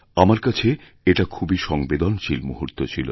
আমার কাছে এটা খুবইসংবেদনশীল মুহূর্ত ছিল